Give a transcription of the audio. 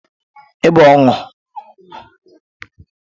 Ịbụ ọnụ bụ okwu ọjọọ a-na agwa mmadụ